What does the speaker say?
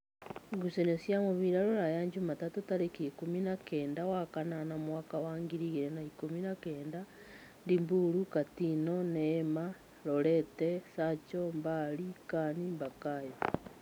Ngucanio cia mũbira Rūraya Jumatatũ tarĩki ikũmi na-kenda wa kanana mwaka wa ngiri igĩrĩ na-ikũmi na-kenda: Ndiburu, Katino, Neema, Lorete, Sacho, Mbari, Kan, Bakayo